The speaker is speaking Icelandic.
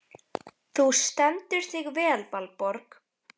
Þú stendur þig vel, Valborg!